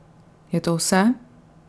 Je to vse?